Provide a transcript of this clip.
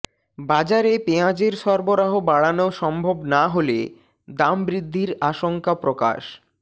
বাজারে পেঁয়াজের সরবরাহ বাড়ানো সম্ভব না হলে দাম বৃদ্ধির আশঙ্কা প্রকাশ